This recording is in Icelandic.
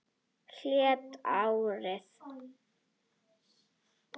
Heilt ár!